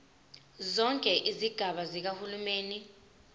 zonke izigaba zikahulumeni